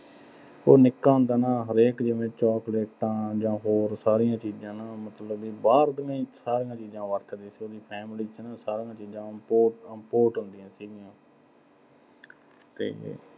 ਇਹ ਨਿੱਕਾ ਹੁੰਦਾ ਨਾ ਅਹ ਹਰੇਕ ਜਾਂ ਹੋਰ ਸਾਰੀਆਂ ਚੀਜ਼ਾਂ ਨਾ ਅਹ ਮਤਲਬ ਵੀ ਬਾਹਰ ਦੀਆਂ ਹੀ, ਸਾਰੀਆਂ ਚੀਜ਼ਾਂ ਵਰਤਦੇ ਸੀ ਉਹਦੀ family ਚ ਨਾ ਅਹ ਸਾਰੀਆਂ ਚੀਜ਼ਾਂ import ਹੁੰਦੀਆਂ ਸੀਗੀਆਂ ਤੇ